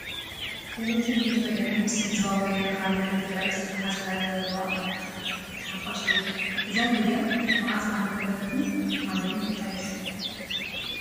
ቴለብዥን ድምፂ ወያነ ምስ ህዝባዊ ወያነ ሓርነት ትግራይ ዝተተሓዘ ታሪክ ዘለዋ መራኸቢት ሓፋሽ እያ፡፡ እዛ ሚድያ መዓዝ ዓመተ ምህረትን ኣበይን ተጣዪሻ?